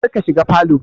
Kar ka shiga falow